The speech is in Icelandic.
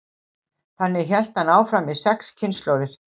þannig hélt hann áfram í sex kynslóðir